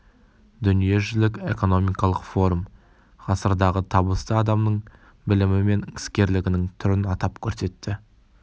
дүниежүзілік экономикалық форум ғасырдағы табысты адамның білімі мен іскерлігінің түрін атап көрсетті